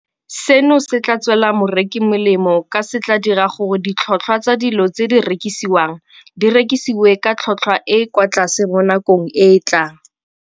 Seno se tla tswela moreki molemo ka se tla dira gore ditlhotlhwa tsa dilo tse di rekisiwang di rekisiwe ka tlhotlhwa e e kwa tlase mo nakong e e tlang.